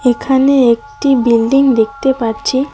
এখানে একটি বিল্ডিং দেখতে পাচ্ছি।